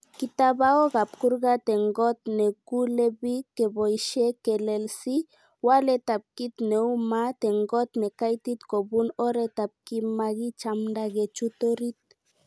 Kitabaok ab kurgat en got nekulebik keboishe kolelsi waleetab kit neu maat en kot nekaitit kobun oretab komakichamda kechut orit.